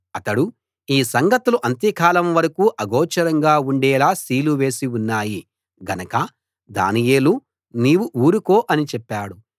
అతడు ఈ సంగతులు అంత్యకాలం వరకూ అగోచరంగా ఉండేలా సీలు చేసి ఉన్నాయి గనక దానియేలూ నీవు ఊరుకో అని చెప్పాడు